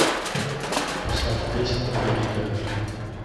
поставь песня берега